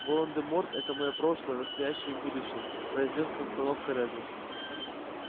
волан-де-морт это моё прошлое настоящее и будущее произнёс с расстановкой реддл